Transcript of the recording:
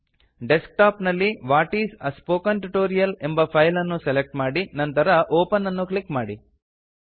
desk top ನಲ್ಲಿ what is a spoken tutorial ಎಂಬ file ಅನ್ನು ಸೆಲೆಕ್ಟ್ ಮಾಡಿ ನಂತರ ಒಪೆನ್ ಅನ್ನು ಕ್ಲಿಕ್ ಮಾಡಿ